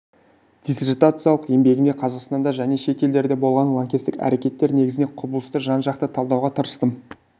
диссертациялық еңбегімде қазақстанда және шет елдерде болған лаңкестік әрекеттер негізінде құбылысты жан-жақты талдауға тырыстым